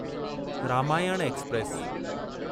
Ramayana express